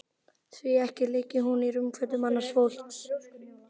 Því ekki liggi hún í rúmfötum annars fólks.